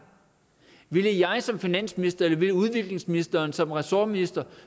ville jeg som finansminister eller ville udviklingsministeren som ressortminister